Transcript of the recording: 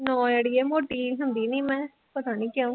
ਨਾ ਅੜੀਏ ਮੋਟੀ ਹੁੰਦੀ ਨੀ ਮੈਂ ਪਤਾ ਨੀ ਕਿਉਂ